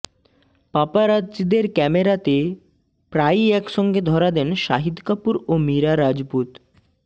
পাপারাৎজিদের ক্যামেরাতে প্রায়ই একসঙ্গে ধরা দেন শাহিদ কাপুর ও মীরা রাজপুত